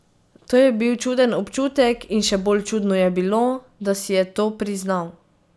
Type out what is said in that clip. To je bil čuden občutek in še bolj čudno je bilo, da si je to priznal.